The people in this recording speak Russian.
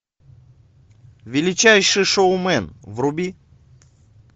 величайший шоумен вруби